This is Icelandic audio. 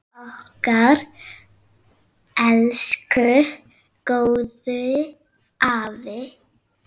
Okkar elsku góði afi!